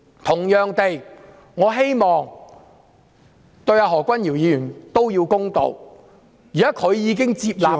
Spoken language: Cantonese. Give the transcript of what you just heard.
同樣地，我希望他們對何君堯議員都要公道，現時他已經願意接受調查......